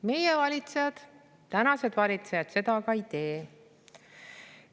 Meie valitsejad, praegused valitsejad seda aga ei tee.